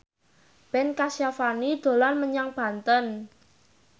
Ben Kasyafani dolan menyang Banten